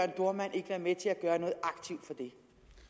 dohrmann ikke være med til at gøre noget aktivt for det